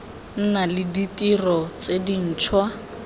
nna le ditiro tse dintšhwa